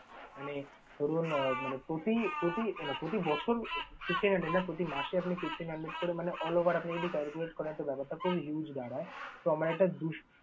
মানে ধরুন আহ মানে প্রতি প্রতি মানে প্রতি বছর প্রতি মাসে আপনি fifteen hundred করে মানে all over আপনি যদি calculate করেন তো ব্যাপারটা খুব huge দাঁড়ায়। তো আমার এটা বুঝতে হবে।